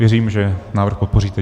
Věřím, že návrh podpoříte.